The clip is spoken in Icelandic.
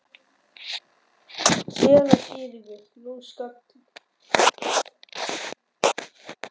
SÉRA SIGURÐUR: Nú skall hurð nærri hælum.